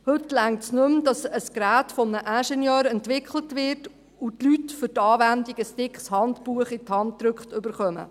Es reicht heute nicht mehr, dass ein Gerät von einem Ingenieur entwickelt wird und die Leute für die Anwendung ein dickes Handbuch in die Hand gedrückt bekommen.